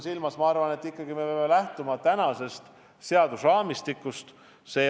Ma arvan, et ikkagi me peame lähtuma praegusest seadusraamistikust.